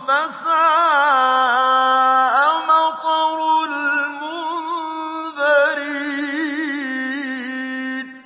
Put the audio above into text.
فَسَاءَ مَطَرُ الْمُنذَرِينَ